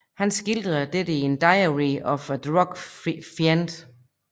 Han skildrer dette i Diary of a Drug Fiend